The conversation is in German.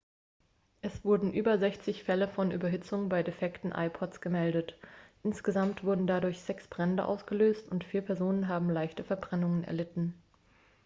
es wurden über 60 fälle von überhitzung bei defekten ipods gemeldet insgesamt wurden dadurch sechs brände ausgelöst und vier personen haben leichte verbrennungen erlitten